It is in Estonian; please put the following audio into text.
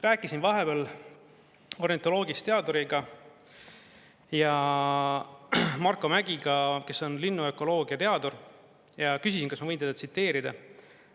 Rääkisin vahepeal ornitoloogist teaduriga Marko Mägiga, kes on linnuökoloogia teadur, ja küsisin, kas ma võin teda tsiteerida.